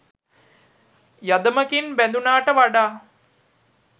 යදමකින් බැදුනාට වඩා